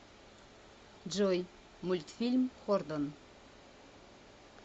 джой мультфильм хордон